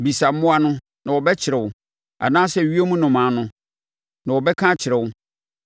“Bisa mmoa no, na wɔbɛkyerɛ wo anaasɛ ewiem nnomaa no, na wɔbɛka akyerɛ wo